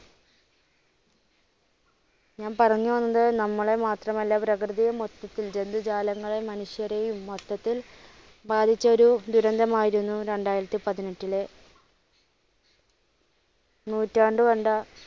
ഞാൻ പറഞ്ഞു വന്നത് നമ്മളെ മാത്രം അല്ലാ പ്രകൃതിയെ മൊത്തത്തിൽ ജന്തുജാലങ്ങളയും മനുഷ്യരെയും മൊത്തത്തിൽ ബാധിച്ച ഒരു ദുരന്തം ആയിരുന്നു രണ്ടായിരത്തിപ്പതിനെട്ടിലെ നൂറ്റാണ്ട് കണ്ട,